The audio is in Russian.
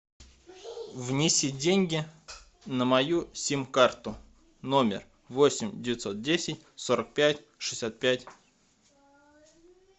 внеси деньги на мою сим карту номер восемь девятьсот десять сорок пять шестьдесят пять